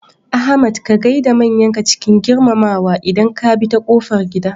Ahmad ka gaida manyanka cikin girmamawa idan ka bi ta kofar gida.